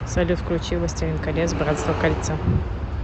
салют включи властелин колец братство кольца